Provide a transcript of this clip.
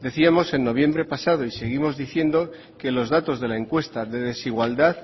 decíamos en noviembre pasado y seguimos diciendo que los datos de la encuesta de desigualdad